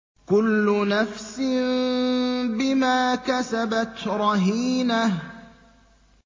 كُلُّ نَفْسٍ بِمَا كَسَبَتْ رَهِينَةٌ